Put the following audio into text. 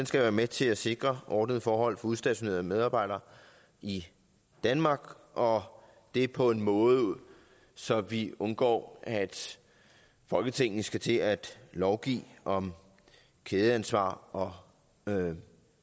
skal være med til at sikre ordnede forhold for udstationerede medarbejdere i danmark og det på en måde så vi undgår at folketinget skal til at lovgive om kædeansvar og og